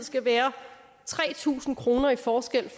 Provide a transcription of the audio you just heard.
skal være tre tusind kroner i forskel